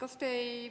Aitäh!